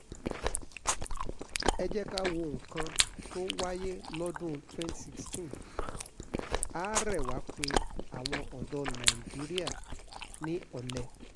ẹ jẹ́ ká wo nǹkan tó wáyé lọ́dún 2016 ààrẹ wa pé àwọn ọ̀dọ́ ilẹ̀ nàìjíríà ni olè